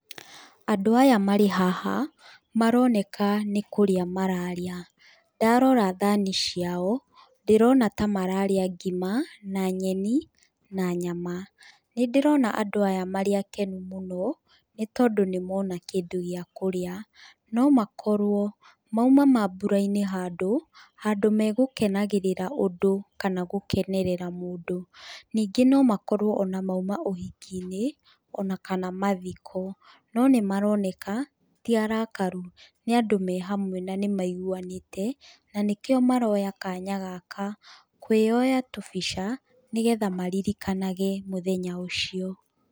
Andũ aya marĩ haha nĩ maroneka nĩ kũrĩa mararĩa, ndarora thani ciao ndĩrona ta mararĩa ngima na nyeni na nyama, nĩndĩrona andũ aya marĩ akenu mũno nĩ tondũ nĩ mona kĩndũ gĩa kũrĩa. No makorwo mauma mabũra-inĩ handũ, handũ megũkenagĩrĩra ũndũ kana gũkenerera mũndũ. Ningĩ no makorwo o na mauma ũhiki-inĩ kana mathiko. No nĩ maroneka ti arakaru nĩ andũ me hamwe na nĩ maiguanĩte na nĩ kĩo maroya kanya gaka kwĩyoya tũbica nĩgetha maririkanage mũthenya ũcio.